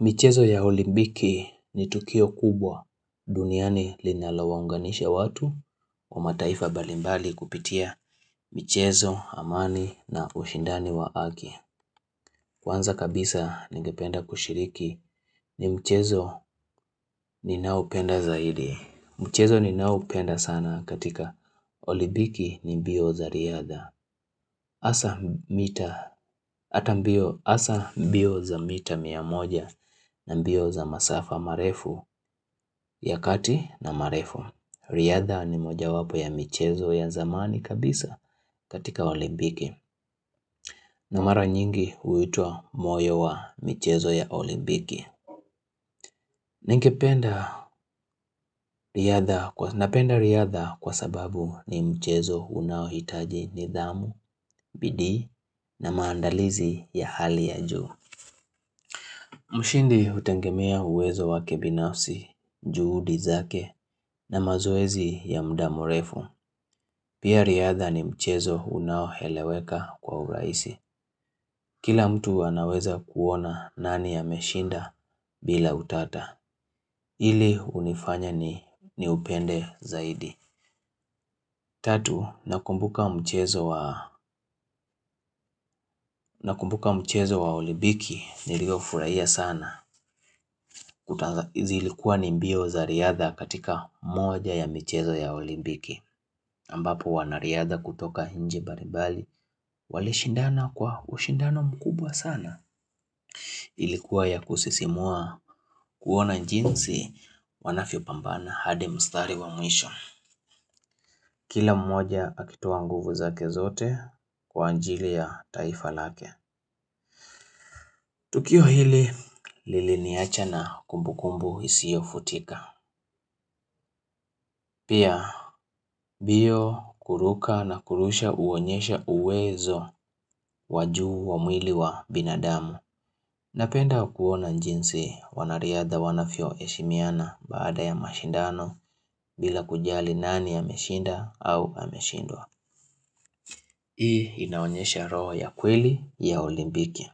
Michezo ya olimpiki ni tukio kubwa. Duniani linalawaunganisha watu kwa mataifa mbalimbali kupitia michezo, amani na ushindani wa haki. Kwanza kabisa ningependa kushiriki. Ni mchezo ninaopenda zaidi. Mchezo ninaoupenda sana katika olimpiki ni mbio za riadha. Hasa mbio hasa mbio za mita mia moja na mbio za masafa marefu, ya kati na marefu. Riadha ni moja wapo ya michezo ya zamani kabisa katika olimpiki. Na mara nyingi huitwa moyo wa michezo ya olimpiki. Napenda riadha kwa sababu ni mchezo unaohitaji nidhamu, bidii na maandalizi ya hali ya juu mshindi hutegemea uwezo wake binafsi, juhudi zake na mazoezi ya muda mrefu. Pia riadha ni mchezo unaoeleweka kwa urahisi. Kila mtu anaweza kuona nani ameshinda bila utata. Hili hunifanya niupende zaidi. Tatu, nakumbuka mchezo wa olimpiki niliofurahia sana kutazama. Zilikuwa ni mbio za riadha katika moja ya michezo ya olimpiki. Ambapo wanariadha kutoka nchi mbalimbali, walishindana kwa ushindano mkubwa sana. Ilikuwa ya kusisimua kuona jinsi wanavyopambana hadi mstari wa mwisho. Kila mmoja akitoa nguvu zake zote kwa ajili ya taifa lake. Tukio hili, liliniacha na kumbukumbu isiyofutika. Pia, mbio kuruka na kurusha huonyesha uwezo wa juu wa mwili wa binadamu. Napenda kuona jinsi wanariadha wanavyoheshimiana baada ya mashindano bila kujali nani ameshinda au ameshindwa. Hii inaonyesha roho ya kweli ya olimpiki.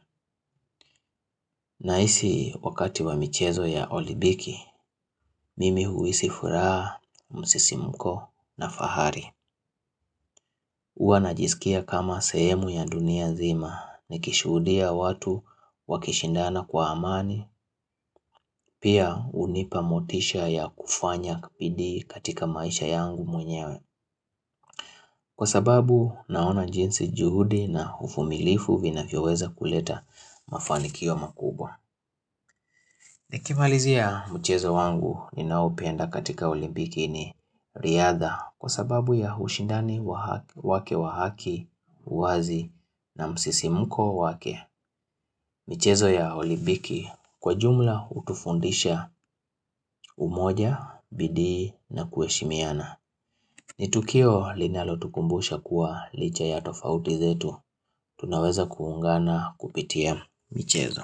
Nahisi wakati wa michezo ya olimpiki, mimi huisi furaha, msisimuko na fahari. Huwa najisikia kama sehemu ya dunia nzima, nikishuhudia watu wakishindana kwa amani, pia hunipa motisha ya kufanya bidii katika maisha yangu mwenyewe. Kwa sababu naona jinsi juhudi na uvumilivu vinafyoweza kuleta mafanikio makubwa. Nikimalizia mchezo wangu ninaoupenda katika olimpiki ni riadha kwa sababu ya ushindani wake wa haki, uwazi na msisimuko wake. Michezo ya olimpiki kwa jumla hutufundisha umoja, bidii na kuheshimiana. Ni tukio linalotukumbusha kuwa licha ya tofauti zetu. Tunaweza kuungana kupitia michezo.